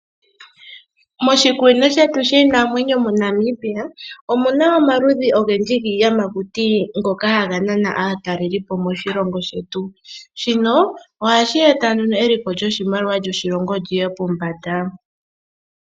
Moshikunino shetu shiinamwenyo moNamibia omuna omaludhi ogendji giiyamakuti ngoka haga nana aatalelipo moshilongo shetu naashino ohashi yambulithapo eliko lyoshilongo pombanda.